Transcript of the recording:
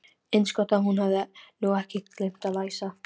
Eins gott að hún hefði nú ekki gleymt að læsa.